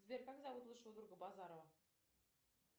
сбер как зовут лучшего друга базарова